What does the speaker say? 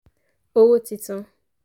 owó titun